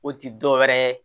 O ti dɔwɛrɛ ye